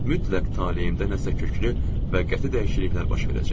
Mütləq taleyrimdə nəsə köklü və qəti dəyişikliklər baş verəcək.